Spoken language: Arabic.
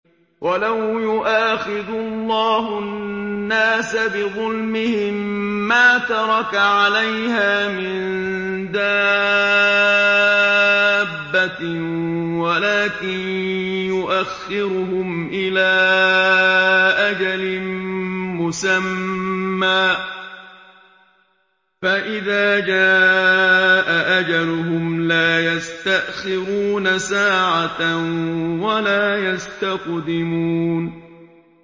وَلَوْ يُؤَاخِذُ اللَّهُ النَّاسَ بِظُلْمِهِم مَّا تَرَكَ عَلَيْهَا مِن دَابَّةٍ وَلَٰكِن يُؤَخِّرُهُمْ إِلَىٰ أَجَلٍ مُّسَمًّى ۖ فَإِذَا جَاءَ أَجَلُهُمْ لَا يَسْتَأْخِرُونَ سَاعَةً ۖ وَلَا يَسْتَقْدِمُونَ